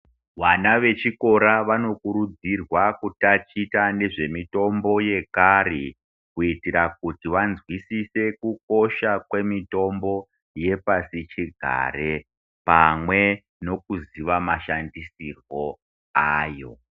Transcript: Vana vechikora vanokurudzirwa kutatichwa nezvemitombo yekare kuitira kuti vanzwisise kukosha kwemitombo yepasi chigare pamwe nekuziva mashandisirwo ayo.